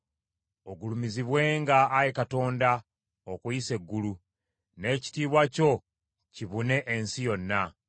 Ogulumizibwenga, Ayi Katonda, okuyisa eggulu; n’ekitiibwa kyo kibune ensi yonna.